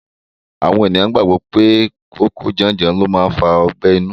Àwọn ènìyàn gbàgbọ́ pé kòókòó janjan ni ó ń fa ọgbẹ́ inú.